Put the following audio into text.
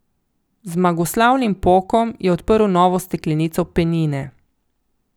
Z zmagoslavnim pokom je odprl novo steklenico penine.